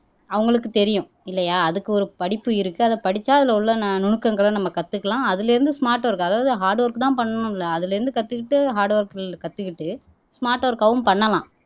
அவங்களுக்கு தெரியும் இல்லையா அதுக்கு ஒரு படிப்பு இருக்கு அதை படிச்சா அதுல உள்ள நுணுக்கங்களை நம்ம கத்துக்கலாம் அதுல இருந்து ஸ்மார்ட் ஒர்க் அதாவது ஹார்ட் ஒர்க் தான் பண்ணணும் இல்ல அதுல இருந்து கத்துக்கிட்டு ஹார்ட் ஒர்க்கில் கத்துக்கிட்டு ஸ்மார்ட் ஒர்க் ஆவும் பண்ணலாம்